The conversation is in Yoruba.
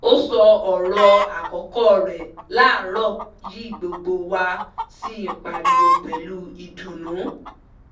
ó sọ ọ̀rọ̀ àkọ́kọ́ rẹ̀ láàrọ̀ yìí gbogbo wa sí pariwo pẹ̀lú ìdùnnú